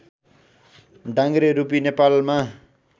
डाङ्ग्रे रूपी नेपालमा